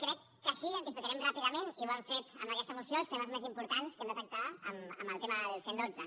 crec que així identificarem ràpidament i ho hem fet amb aquesta moció els temes més importants que hem detectat en el tema del cent i dotze